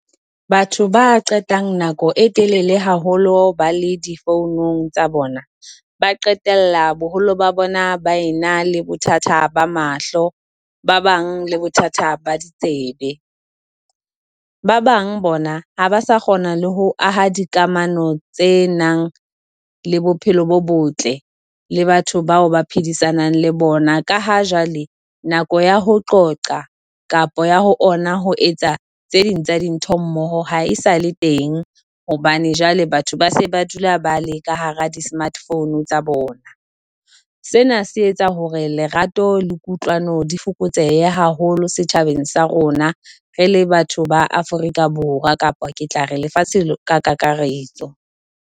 Batho ba qetang nako e telele haholo ba le di founung tsa bona, ba qetella boholo ba bona ba e na le bothata ba mahlo, ba bang le bothata ba ditsebe. Ba bang bona ha ba sa kgona le ho aha dikamano tse nang le bophelo bo botle le batho bao ba phedisanang le bona. Ka ha jwale nako ya ho qoqa kapa ya ho ona ho etsa tse ding tsa dintho mmoho ha e sale teng hobane jwale batho ba se ba dula ba le ka hara di-smart phone tsa bona. Sena se etsa hore lerato le kutlwano di fokotsehe haholo setjhabeng sa rona, re le batho ba Afrika Borwa kapa ke tla re lefatshe ka kakaretso.